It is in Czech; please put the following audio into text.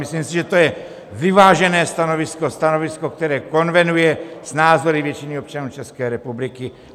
Myslím si, že to je vyvážené stanovisko, stanovisko, které konvenuje s názory většiny občanů České republiky.